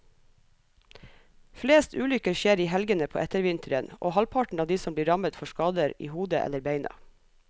Flest ulykker skjer i helgene på ettervinteren, og halvparten av de som blir rammet får skader i hodet eller beina.